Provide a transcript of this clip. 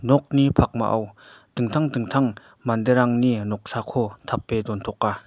nokni pakmao dingtang dingtang manderangni noksako tape dontoka.